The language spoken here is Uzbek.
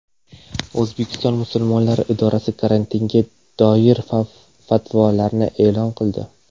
O‘zbekiston musulmonlari idorasi karantinga doir fatvolarni e’lon qildi .